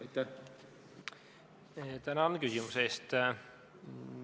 Tänan küsimuse eest!